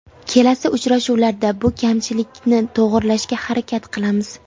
Kelasi uchrashuvlarda bu kamchilikni to‘g‘rilashga harakat qilamiz.